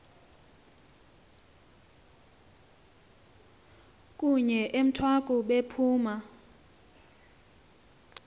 kunye emthwaku bephuma